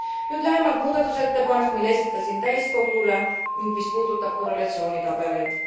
Nüüd lähemalt muudatusettepanekust, mille esitasin täiskogule ning mis puudutab korrelatsioonitabeleid.